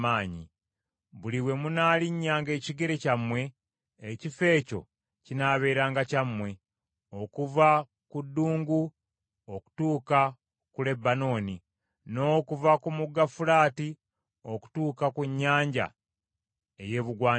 Buli we munaalinnyanga ekigere kyammwe, ekifo ekyo kinaabeeranga kyammwe; okuva ku ddungu okutuuka ku Lebanooni, n’okuva ku Mugga Fulaati okutuuka ku nnyanja ey’ebugwanjuba.